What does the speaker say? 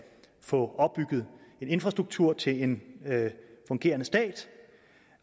få opbygget en infrastruktur til en fungerende stat